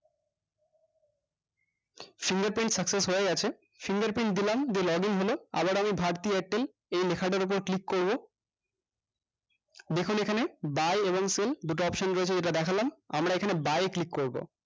fingerprint success হয়ে গেছে fingerprint দিলাম দিয়ে login হলো আবার আমি bharti airtel এই লেখাটার উপর click করবো দেখুন এখানে buy এবং sell দুটি option রয়েছে যেটা দেখলাম আমরা এখানে buy এ ক্লিক করবো